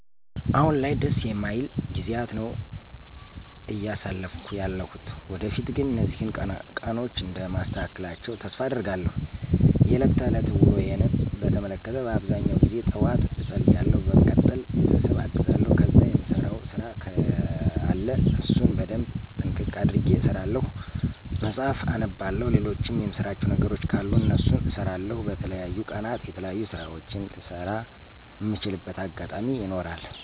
አሁን ላይ ደስ የማይል ጊዜያት ነው አያሳለፍኩ ያለሁት። ወደፊት ግን እነዚህን ቀኖች እንደማስተካክላቸው ተስፋ አደርጋለሁ። የለት ተለት ውሎየን በተመለከተ በአብዛኛው ጊዜ ጠዋት እፀልያለሁ በመቀጠል ቤተሰብ አግዛለሁ ከዛ የምሰራው ስራ ከለ እነሱን በደንብ ጥንቅቅ አድርጌ እሰራለሁ፣ መጽሀፍት አነባለሁ፣ ልሎችም የምሰራቸው ነገሮች ካሉ እነሱን እሰራለሁ። በተለያዩ ቀናት የተለያዩ ስራወችን ልሰራ እምችልበት አጋጣሚ ይኖራል።